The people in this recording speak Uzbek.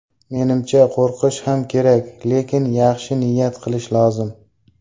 Menimcha, qo‘rqish ham kerak, lekin yaxshi niyat qilish lozim.